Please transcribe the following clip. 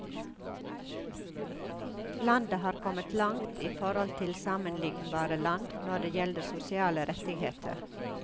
Landet har kommet langt, i forhold til sammenlignbare land, når det gjelder sosiale rettigheter.